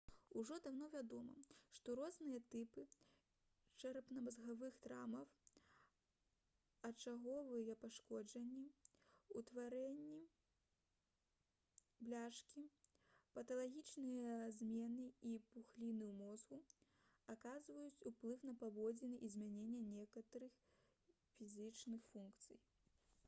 ужо даўно вядома што розныя тыпы чэрапна-мазгавых траўмаў ачаговыя пашкоджанні утварэнні бляшкі паталагічныя змены і пухліны ў мозгу аказваюць уплыў на паводзіны і змяняюць некаторыя псіхічныя функцыі